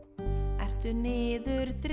ertu niðurdregin